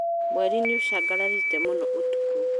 Mweri nĩũcangararĩte mũno ũtukũ